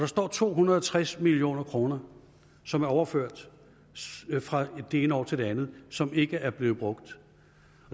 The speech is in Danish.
står to hundrede og tres million kr som er overført fra det ene år til det andet som ikke er blevet brugt